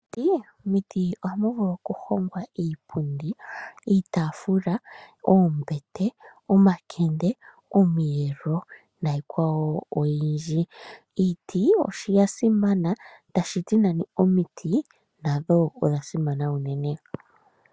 Momiti oha mu vulu okuhongwa iipundi, iitafula, oombete, omakende, omiyelo nayi kwawo oyindji. Iiti oya simana tashi ti nani omiti nadho odha simana unene.